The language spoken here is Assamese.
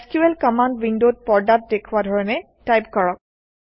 এছক্যুএল কমাণ্ড উইণ্ডত পৰ্দাত দেখুওৱা ধৰণে টাইপ কৰক